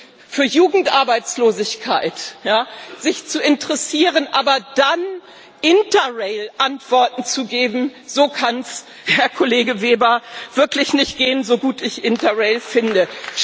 Und sich für Jugendarbeitslosigkeit zu interessieren, aber dann Interrail Antworten zu geben so kann es, Herr Kollege Weber, wirklich nicht gehen, so gut ich Interrail finde.